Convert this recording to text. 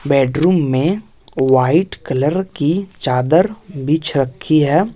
Bedroom में white colour की चादर बिछ रखी है।